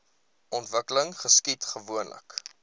ontwikkeling geskied gewoonlik